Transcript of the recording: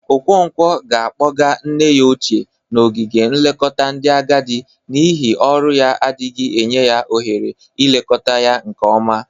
Okonkwo ga-akpọga nne ya ochie n'ogige nlekọta ndị agadị n'ihi ọrụ ya adịghị enye ya ohere ilekọta ya nke ọma.